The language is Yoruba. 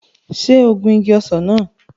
Ṣé o gun igi ọsàn náà?